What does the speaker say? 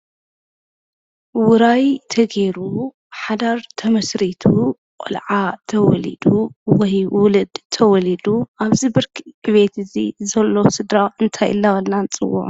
ውራይ ተገይሩ፤ ሓዳር ተመስሪቱ፣ ሽዑ ቆልዓ ተወሊዱ፣ ወይ ውሉድ ተወሊዱ። ኣብዚ ብርኪ ዕብየት ዘሎ ስድራ እንታይ እንዳበልና ንፅውዖ?